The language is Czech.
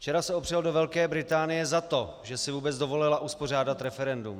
Včera se opřel do Velké Británie za to, že si vůbec dovolila uspořádat referendum.